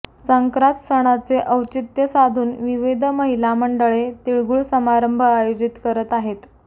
संक्रांत सणाचे औचित्य साधून विविध महिला मंडळे तिळगूळ समारंभ आयोजित करत आहेत